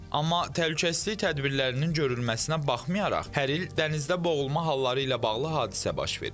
Amma təhlükəsizlik tədbirlərinin görülməsinə baxmayaraq, hər il dənizdə boğulma halları ilə bağlı hadisə baş verir.